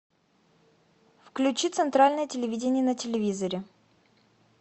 включи центральное телевидение на телевизоре